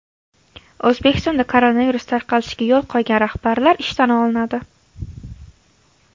O‘zbekistonda koronavirus tarqalishiga yo‘l qo‘ygan rahbarlar ishdan olinadi.